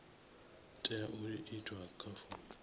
tea u itwa kha fomo